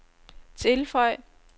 tilføj